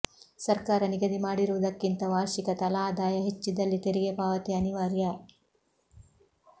ಸರ್ಕಾರ ನಿಗದಿ ಮಾಡಿರುವುದಕ್ಕಿಂತ ವಾರ್ಷಿಕ ತಲಾದಾಯ ಹೆಚ್ಚಿದ್ದಲ್ಲಿ ತೆರಿಗೆ ಪಾವತಿ ಅನಿವಾರ್ಯ